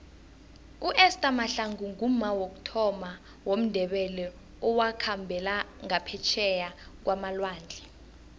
uester mahlangu ngumma wokuthoma womndebele owakhambela ngaphetjheya kwamalwandle